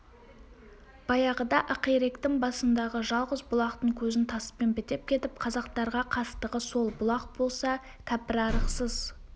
баяғыда ақиректің басындағы жалғыз бұлақтың көзін таспен бітеп кетіп қазақтарға қастығы сол бұлақ болса кәпірарықсыз